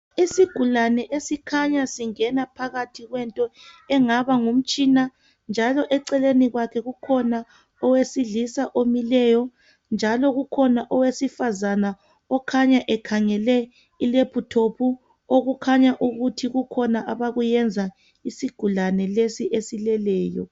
Isigulane esikhanya singena phakathi kwento engaba ngumtshina, njalo eceleni kwakhe kukhona owesilisa omileyo, njalo kukhona owesifazana okhanya ekhangele ilephuthophu. Okukhahya ukuthi kukhona abakuyenza isigulane lesi esileleyo.